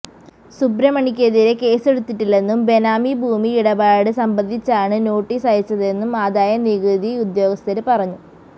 സുബ്രമണിക്കെതിരെ കേസെടുത്തിട്ടില്ലെന്നും ബെനാമി ഭൂമി ഇടപാട് സംബന്ധിച്ചാണ് നോട്ടിസയച്ചതെന്നും ആദായ നികുതി ഉദ്യോഗസ്ഥര് പറഞ്ഞു